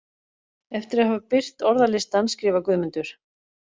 Eftir að hafa birt orðalistann skrifar Guðmundur: